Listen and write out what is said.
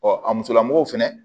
a musolamɔgɔw fɛnɛ